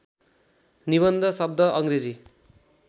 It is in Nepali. निबन्ध शब्द अङ्ग्रेजी